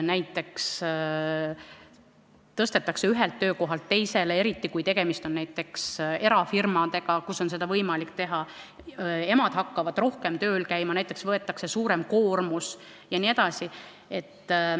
Näiteks tõstetakse inimene ühelt töökohalt teisele, eriti kui tegemist on erafirmaga, kus on seda võimalik teha, emad hakkavad rohkem tööl käima, näiteks võetakse suurem koormus jne.